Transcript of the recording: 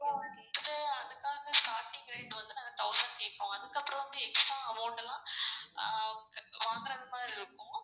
இப்போ வந்து அதுக்கான starting rate வந்து நாங்க thousand கேப்போம். அதுக்கப்றம் extra amount எல்லாம் ஆஹ் வாங்குற மாதிரி இருக்கும்.